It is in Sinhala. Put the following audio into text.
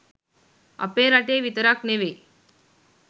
අපේ රටේ විතරක් නෙවෙයි